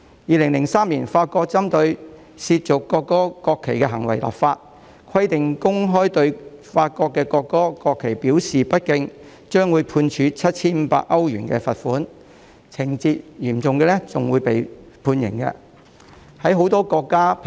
2003年，法國針對褻瀆國歌和國旗的行為立法，規定若公開對法國的國歌或國旗表示不敬，將會判處 7,500 歐羅的罰款，情節嚴重的話更會判處監禁。